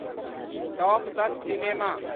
top दस cinema